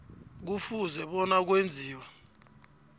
kufuze bona kwenziwe